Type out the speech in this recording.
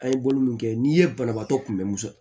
An ye bolo min kɛ n'i ye banabaatɔ kunbɛn muso